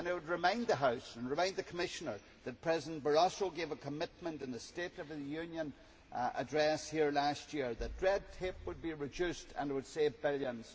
I would remind the House, and remind the Commissioner, that President Barroso gave a commitment in his State of the Union address here last year that red tape would be reduced and it would save billions.